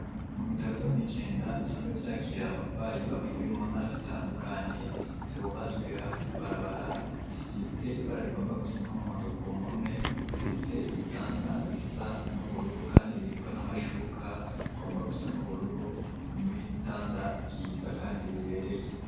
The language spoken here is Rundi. Mu bitaro vyo mw'Ijenda bisanzwe vyakira abagwayi bavuye mu ntara zitandukanye, vyubatswe hafi y'ibarabara, bisize ibara rigomba gusa n'umuhondo ku mpome, bifise ibitanda bisa n'ubururu kandi biriko n'amashuka agomba gusa n'ubururu, ni ibitanda vyiza kandi bibereye.